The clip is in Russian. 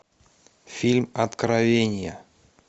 фильм откровение